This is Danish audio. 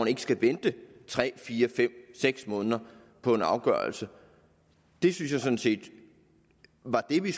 ikke skal vente tre fire fem seks måneder på en afgørelse det synes jeg sådan set var det vi